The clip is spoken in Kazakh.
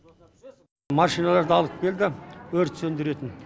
машиналарды алып келді өрт сөндіретін